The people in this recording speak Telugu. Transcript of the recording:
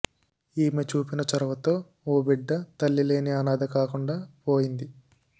ఈమె చూపిన చొరవతో ఓ బిడ్డ తల్లి లేని అనాథ కాకుండా పోయింది